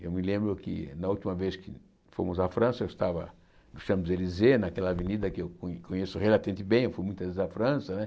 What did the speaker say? Eu me lembro que, na última vez que fomos à França, eu estava no Champs-Élysées, naquela avenida que eu co conheço relativamente bem, eu fui muitas vezes à França, né?